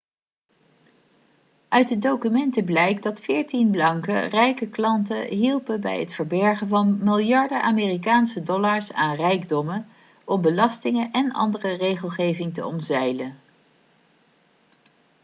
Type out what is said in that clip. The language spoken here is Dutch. uit de documenten blijkt dat veertien banken rijke klanten hielpen bij het verbergen van miljarden amerikaanse dollars aan rijkdommen om belastingen en andere regelgeving te omzeilen